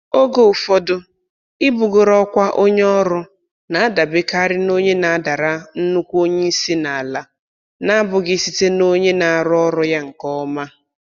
Oge ụfọdụ, ibugoro ọkwa onye ọrụ na-adabekarị na onye na-adara nnukwu onye isi n'ala n'abụghị site n'onye na-arụ ọrụ ya nke ọma